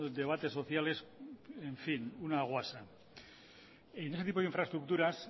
debates sociales en fin una guasa en este tipo de infraestructuras